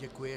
Děkuji.